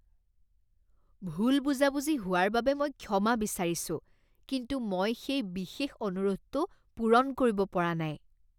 ভুল বুজাবুজি হোৱাৰ বাবে মই ক্ষমা বিচাৰিছোঁ, কিন্তু মই সেই বিশেষ অনুৰোধটো পূৰণ কৰিব পৰা নাই।